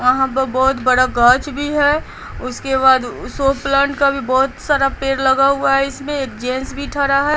यहाँ पर बहुत बड़ा गाछ भी है उसके बाद सो प्लांट का भी बहुत सारा पेड़ लगा हुआ है इसमें एक जेंट्स भी ठरा है।